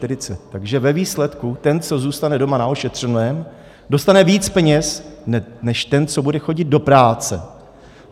Takže ve výsledku, ten, co zůstane doma na ošetřovném, dostane víc peněz než ten, co bude chodit do práce.